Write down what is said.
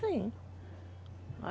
Sim.